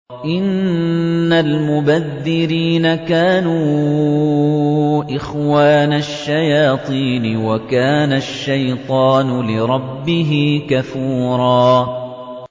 إِنَّ الْمُبَذِّرِينَ كَانُوا إِخْوَانَ الشَّيَاطِينِ ۖ وَكَانَ الشَّيْطَانُ لِرَبِّهِ كَفُورًا